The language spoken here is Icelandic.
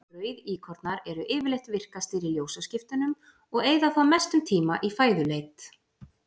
Rauðíkornar eru yfirleitt virkastir í ljósaskiptunum og eyða þá mestum tíma í fæðuleit.